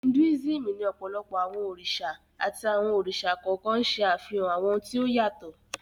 Hinduism ní ọ̀pọ̀lọpọ̀ àwọn òrìṣà àti àwọn òrìṣà kọ̀ọ̀kan ń ṣẹ́ àfihàn àwọn ohun tí ó yàtọ̀